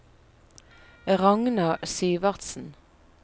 Ragna Syvertsen